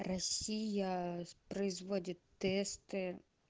россия производит тесты